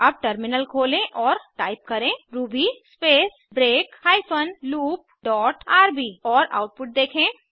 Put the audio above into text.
अब टर्मिनल खोलें और टाइप करें Ruby space break hyphen loop dot RB और आउटपुट देखें